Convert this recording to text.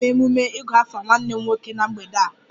A ga-eme emume 'igu afa' nwanne m nwoke na mgbede a